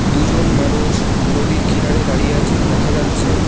দুজন মানুষ নদীর কিনারে দাঁড়িয়ে আছেন দেখা যাচ্ছে।